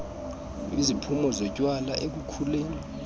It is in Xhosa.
iziphumo zotywala ekukhuleni